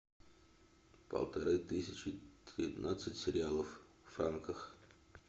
полторы тысячи тринадцать реалов в франках